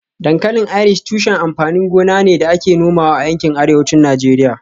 Dankalin Irish tushen amfanin gona ne da ake nomawa a yankin Arewacin Najeriya